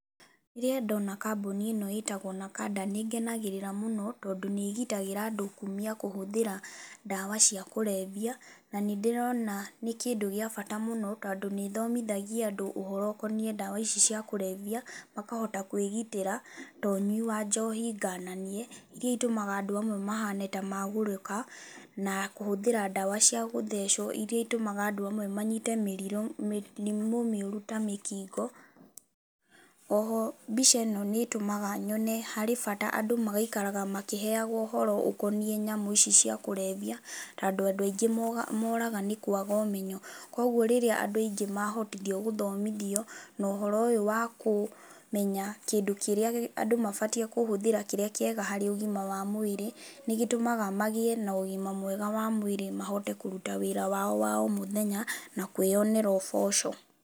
Rĩrĩa ndona kambuni ĩno ĩĩtagwo NAKANDA nĩĩngenagĩrĩra mũno tondũ nĩĩgitagĩra kũmia kũhũthĩra ndawa cia kũrebia, na nĩndĩrona nĩ kĩndũ gĩa bata mũno tondũ nĩĩthomithagia andũ ũhoro ũkoniĩ ndawa icio cia kũrebia, na makahota kwigitĩra to ũnyui wa njohi ngananie iria itũmaga andũ amwe mahane ta magũrũka na kũhũthĩra ndawa cia gũthecwo iria itũmaga andũ amwe manyite mĩrimũ mĩũru ta mĩkingo, oho mbica ĩno nĩĩtũmaga nyone harĩ bata andũ magaikaraga makĩheagwo ũhoro ũkoniĩ nyamũ ici cia kũrebia, tondũ andũ aingĩ mooraga nĩ kwaga ũmenyo, koguo rĩrĩa andũ aingĩ mahotithio gũthomithio no ũhoro ũyũ wakũmenya kĩndũ kĩrĩa andũ mabatiĩ kũhũthĩra kĩrĩa kĩega harĩ ũgima wa mwĩrĩ, nĩgĩtũmaga magĩe na ũgima mwega wa mwĩrĩ mahote kũruta wĩra wao wa omũthenya na kwĩyonera ũboco.